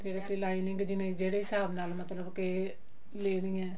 ਫ਼ੇਰ lining ਜਿਹੜੇ ਹਿਸਾਬ ਨਾਲ ਮਤਲਬ ਕਿ ਲੈਣੀ ਹੈ